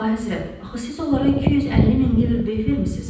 Əlahəzrət, axı siz onlara 250 min livr beh vermisiniz?